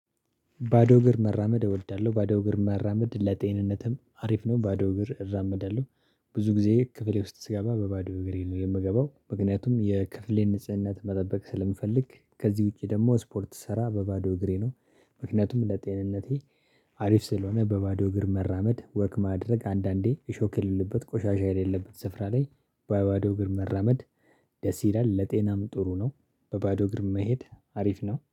ባዶ እግር መራመድ እወዳለሁ ባዶ እግር መራመድ ለጤንነትም አሪፍ ነው ባዶ እግር እራመዳለሁ። ብዙ ጊዜ ክፍሌ ውስጥ ስገባ በባዶ እግሬ ነው የምገባው ምክንያቱም የክፍሌ ንጽህና መጠበቅ ስለምፈልግ ከዚህ ውጪ ደግሞ ስፖርት ስሰራ በባዶ እግሬ ነው። ምክንያቱም ለጤንነቴ አሪፍ ስለሆነ በባዶ እግር መራመድ ወክ ማድረግ አንዳንዴ እሾክ የሌለበት ቆሻሻ የሌለበት ስፍራ ላይ በ ባዶ እግር መራመድ። ደስ ይላል ለጤናም ጥሩ ነው። በባዶ እግር መሄድ አሪፍ ነው